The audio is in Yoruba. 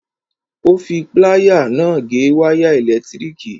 Ó fi pláyà náà gé wáyà ẹ̀lẹ̀tíríkì.